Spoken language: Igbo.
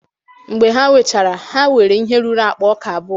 mgbe ha wechara, ha nwere ihe ruru akpa ọka abụọ